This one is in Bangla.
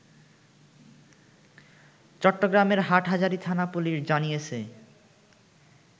চট্টগ্রামের হাটহাজারি থানা পুলিশ জানিয়েছে